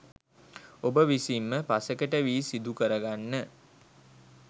ඔබ විසින්ම පසෙකට වී සිදුකරගන්න